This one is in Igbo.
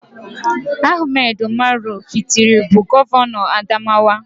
AHMADU UMARU FINTIRI bụ Gọvanọ Adamawa